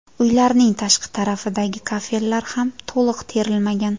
Uylarning tashqi tarafidagi kafellar ham to‘liq terilmagan.